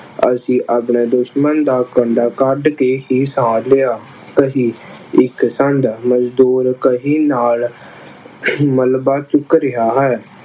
ਅਸੀਂ ਆਪਣੇ ਦੁਸ਼ਮਣ ਦਾ ਕੰਡਾ ਕੱਡ ਕੇ ਹੀ ਸਾਹ ਲਿਆ। ਕਹੀ ਇੱਕ ਸੰਦ ਮਜ਼ਦੂਰ ਕਹੀ ਨਾਲ ਅਹ ਮਲਬਾ ਚੁੱਕ ਰਿਹਾ ਹੈ।